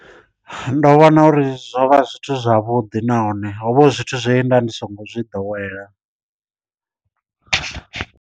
Ndo vhona uri zwo vha zwithu zwavhuḓi nahone ho vha hu zwithu zwe nda ndi songo zwi ḓowela.